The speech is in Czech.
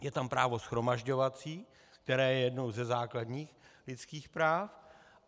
Je tam právo shromažďovací, které je jedním ze základních lidských práv.